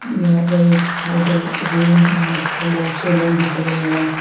यहां पर एक होटल रूम है जिसमें बहुत से रूम देख रहे हैं।